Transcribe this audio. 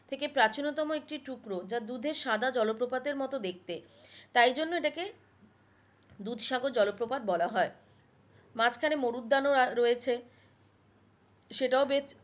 থেকে প্রাচীনতম যা দুধের সাদা জলপ্রপাতের মতো দেখতে তাই জন্য এটাকে দুধসাগর জলপ্রপাত বলা হয় মাঝখানে মরুদ্যান ও রয়েছে সেটাও বেশ